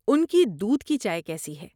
ان کی دودھ کی چائے کیسی ہے؟